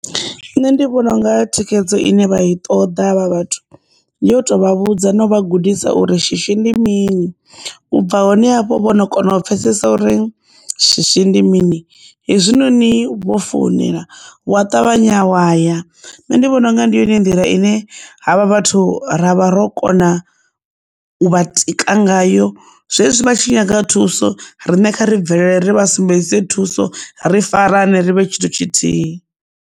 Nṋe ndi vhona unga thikhedzo ine vha i ṱoḓa havha vhathu ndi yo tovha vhudza no vha gudisa uri shishi ndi mini u bva hone havho vhono kona u pfhesesa uri shishi ndi mini hezwinoni vho founela wa ṱavhanya wa ya, nṋe ndi vhona unga ndi yone nḓila ine havha vhathu ra vha ro kona u vha tika ngayo zwezwi vha tshi nyaga thuso riṋe kha ri bvelele ri vha sumbedze thuso ri farane rivhe tshithu tshithihi.